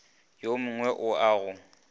yo mngwe o a go